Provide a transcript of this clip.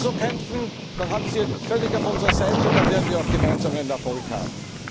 Wenn Sie so kämpfen, dann haben wir Sie völlig auf unserer Seite, und dann werden wir auch gemeinsam Erfolg haben.